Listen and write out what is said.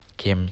кемь